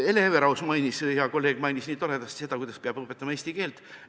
Hea kolleeg Hele Everaus mainis nii toredasti, kuidas ta peab üliõpilastele eesti keelt õpetama.